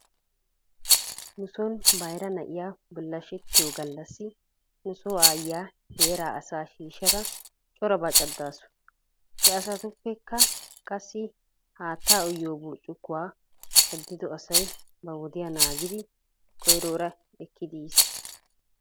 Nuson bayra na'iyaa bullashetiyoo gallassi nuso aayyiya heeraa asaa shiishada corabaa caddasu. He asaappekka qassi haattaa uyiyoo burccukuwaa caddido asay ba wodiyaa naagidi koyroora ekkidi yiis.